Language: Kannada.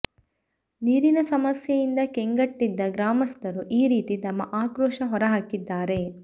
ನೀರಿನ ಸಮಸ್ಯೆಯಿಂದ ಕೆಂಗೆಟ್ಟಿದ್ದ ಗ್ರಾಮಸ್ಥರು ಈ ರೀತಿ ತಮ್ಮ ಆಕ್ರೋಶ ಹೊರಹಾಕಿದ್ದಾರೆ